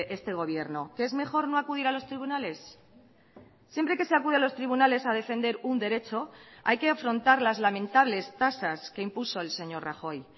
este gobierno que es mejor no acudir a los tribunales siempre que se acude a los tribunales a defender un derecho hay que afrontar las lamentables tasas que impuso el señor rajoy